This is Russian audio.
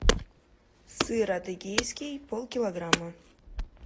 сыр адыгейский полкилограмма